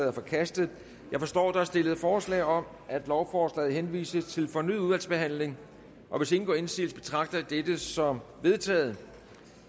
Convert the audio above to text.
er forkastet jeg forstår at der er stillet forslag om at lovforslaget henvises til fornyet udvalgsbehandling hvis ingen gør indsigelse betragter jeg dette som vedtaget